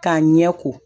K'a ɲɛ ko